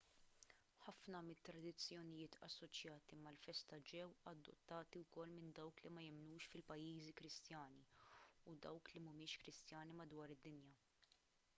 ħafna mit-tradizzjonijiet assoċjati mal-festa ġew adottati wkoll minn dawk li ma jemmnux fil-pajjiżi kristjani u dawk li mhumiex kristjani madwar id-dinja